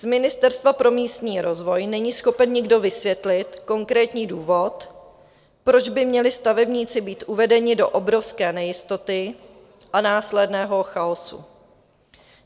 Z Ministerstva pro místní rozvoj není schopen nikdo vysvětlit konkrétní důvod, proč by měli stavebníci být uvedeni do obrovské nejistoty a následného chaosu.